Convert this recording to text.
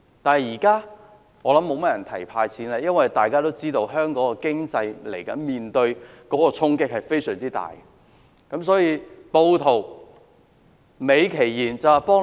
但現在，我想沒有多少人會提"派錢"了，因為大家都知道，香港的經濟接下來將面對非常大的衝擊。